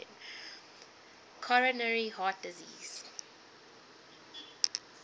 coronary heart disease